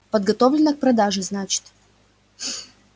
подготовлено к продаже значит